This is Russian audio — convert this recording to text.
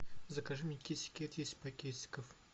закажи мне китикет десять пакетиков